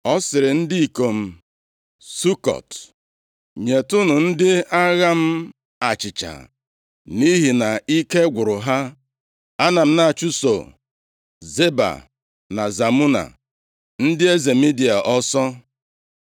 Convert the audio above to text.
Ọ sịrị ndị ikom Sukọt, “Nyetụnụ ndị agha m achịcha nʼihi na ike gwụrụ ha. Ana m na-achụso Zeba na Zalmuna, ndị eze Midia ọsọ.”